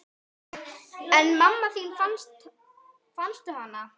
En mamma þín, fannstu hana?